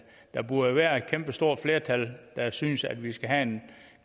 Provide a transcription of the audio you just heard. der burde være et kæmpestort flertal der synes at vi skal have en